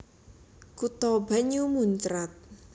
Kutha banyu muncrat